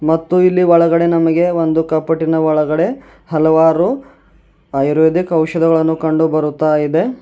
ಮತ್ತು ಇಲ್ಲಿ ಒಳಗಡೆ ನಮಗೆ ಒಂದು ಕಪಾಟಿನ ಒಳಗಡೆ ಹಲವಾರು ಆಯುರ್ವೇದಿಕ್ ಔಷಧಗಳು ಕಂಡು ಬರುತ್ತಾ ಇದೆ.